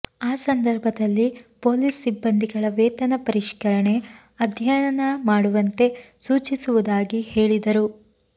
ಆ ಸಂದರ್ಭದಲ್ಲಿ ಪೊಲೀಸ್ ಸಿಬ್ಬಂದಿಗಳ ವೇತನ ಪರಿಷ್ಕರಣೆ ಅಧ್ಯಯನ ಮಾಡುವಂತೆ ಸೂಚಿಸುವುದಾಗಿ ಹೇಳಿದರು